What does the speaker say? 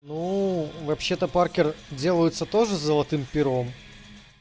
нуу вообще-то паркер делаются тоже с золотым пером